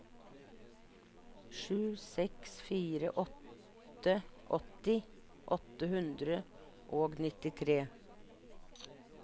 sju seks fire åtte åtti åtte hundre og nittitre